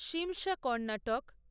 Shimsha Karnataka